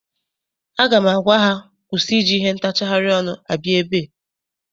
Aga m agwa ha kwụsị iji ihe ntacharị ọnụ abịa ebe!